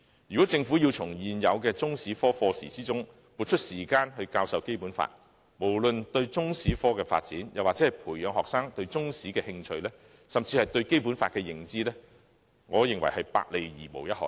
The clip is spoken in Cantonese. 如果政府要從現有的中史科課時撥出時間教授《基本法》，無論對中史科的發展，或培養學生對中史的興趣，甚至學生對《基本法》的認知，我認為均是"百害而無一利"的。